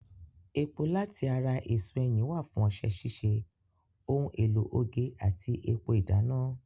Epo láti ara èso ẹyìn wà fún ọṣẹ ṣíṣe, ohun èlò oge àti epo ìdáná.